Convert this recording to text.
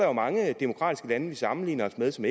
er mange af de demokratiske lande vi sammenligner os med som